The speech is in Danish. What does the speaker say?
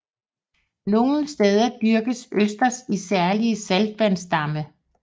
Nogle steder dyrkes østers i særlige saltvandsdamme